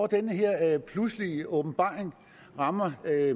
den her pludselige åbenbaring rammer herre